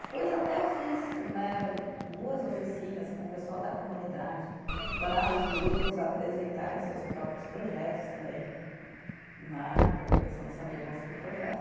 Depois até eu fiz né, duas oficinas com o pessoal da comunidade, para os grupos apresentarem seus próprios projetos também né, porque o pessoal não sabia construir o projeto